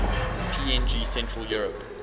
png central europe